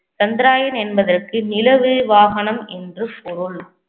சந்திரயான் என்பதற்கு நிலவு வாகனம் என்று பொருள்